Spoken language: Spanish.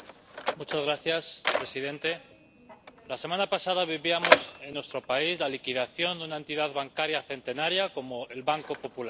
Señor presidente, la semana pasada vivíamos en nuestro país la liquidación de una entidad bancaria centenaria como el Banco Popular.